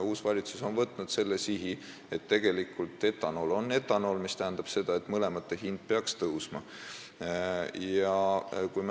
Uus valitsus on arvestanud, et etanool on etanool, mis tähendab seda, et mõlema grupi hind peaks tõusma.